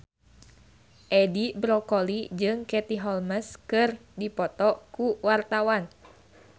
Edi Brokoli jeung Katie Holmes keur dipoto ku wartawan